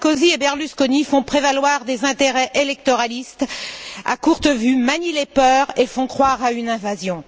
Sarkozy et Berlusconi font prévaloir des intérêts électoralistes à courte vue, manient les peurs et font croire à une invasion.